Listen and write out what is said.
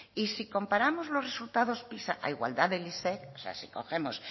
y si comparamos los resultados pisa a igualdad del o sea si cogemos